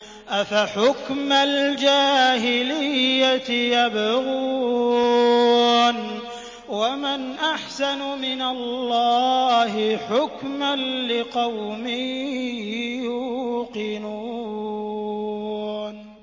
أَفَحُكْمَ الْجَاهِلِيَّةِ يَبْغُونَ ۚ وَمَنْ أَحْسَنُ مِنَ اللَّهِ حُكْمًا لِّقَوْمٍ يُوقِنُونَ